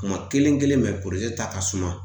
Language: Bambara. Kuma kelen kelen ta ka suma